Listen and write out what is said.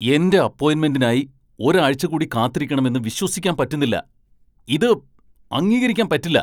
എന്റെ അപ്പോയിൻമെന്റിനായി ഒരാഴ്ച കൂടി കാത്തിരിക്കണമെന്ന് വിശ്വസിക്കാൻ പറ്റുന്നില്ല. ഇത് അംഗീക്കരിക്കാൻ പറ്റില്ല .